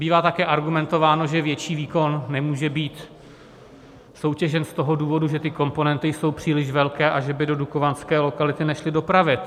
Bývá také argumentováno, že větší výkon nemůže být soutěžen z toho důvodu, že ty komponenty jsou příliš velké a že by do dukovanské lokality nešly dopravit.